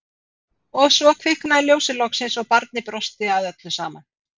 Og svo kviknaði ljósið loksins og barnið brosti að öllu saman.